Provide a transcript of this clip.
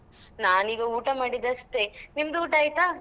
ನಾನ್ ಈಗ ಊಟ ಮಾಡಿದ್ ಅಷ್ಟೆ, ನಿಮ್ದು ಊಟ ಆಯ್ತಾ?